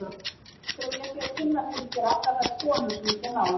Heldurðu að ég sé að kynna fyrir þér allar þær konur sem ég kem nálægt?